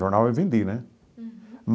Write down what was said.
Jornal eu vendi, né? Uhum.